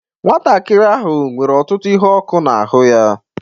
Nwantakịrị ahụ nwere ọtụtụ ihe ọkụ n'ahụ ya